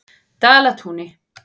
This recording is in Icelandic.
Dalatúni